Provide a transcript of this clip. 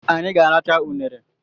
Anyị ga-arachaa unere